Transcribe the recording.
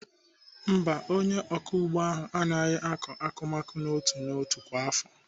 Mba, onye ọkụ ugbo ahụ aaghị akọ akụmakụ n'otu n'otu kwa afọ.